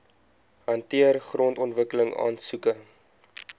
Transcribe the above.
hanteer grondontwikkeling aansoeke